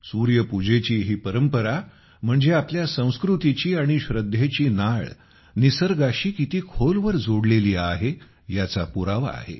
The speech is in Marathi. सूर्यपूजेची ही परंपरा म्हणजे आपल्या संस्कृतीची आणि श्रद्धेची नाळ निसर्गाशी किती खोलवर जोडलेली आहे याचा पुरावा आहे